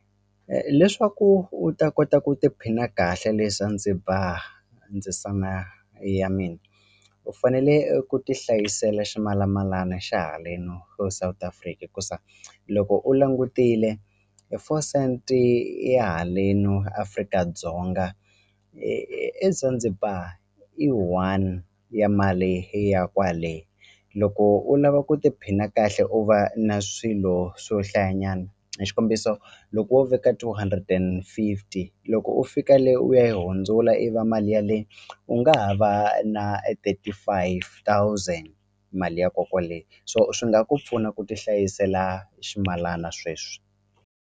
Leswaku u ta kota ku tiphina kahle le Zanzibar ndzisana ya mina u fanele ku ti hlayisela ximalamalano xa haleni South Africa hikusa loko u langutile four cent ya haleno Afrika-Dzonga eZanzibar i one ya mali ya kwale loko u lava ku tiphina kahle u va na swilo swo hlayanyana hi xikombiso loko wo veka two hundred and fifty loko u fika le u ya yi hundzula i va mali ya le u nga ha va na thirty five thousand mali ya ko kwale so swi nga ku pfuna ku ti hlayisela ximalana sweswi.